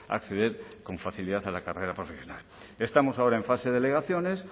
acceder con facilidad a la carrera profesional estamos ahora en fase de alegaciones